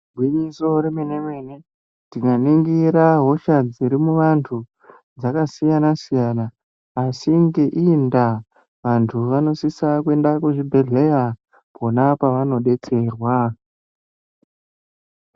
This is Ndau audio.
Gwinyiso remene-mene tikaningira hosha dziri muvantu dzakasiyana -siyana asi ngeiyi ndaa vantu vanosisa kuenda kuzvibhedhleya kwona kwavanodetserwa.